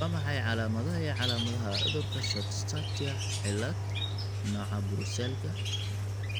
Waa maxay calaamadaha iyo calaamadaha cudurka Short Stature cilaad, nooca Brusselka?